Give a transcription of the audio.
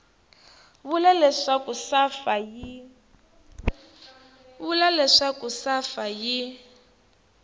va vula leswaku safa yi